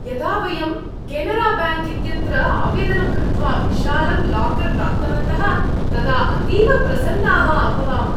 यदा वयं केनराबैङ्क् इत्यत्र आवेदनं कृत्वा विशालं लाकर् प्राप्तवन्तः, तदा अतीव प्रसन्नाः अभवाम।